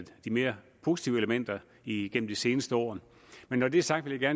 de mere positive elementer igennem de seneste år men når det er sagt vil jeg